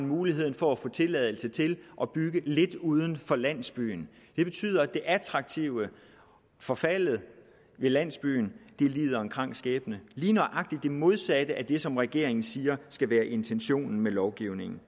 muligheden for at få tilladelse til at bygge lidt uden for landsbyen det betyder at det attraktive forfalder at landsbyen lider en krank skæbne lige nøjagtig det modsatte af det som regeringen siger skal være intentionen med lovgivningen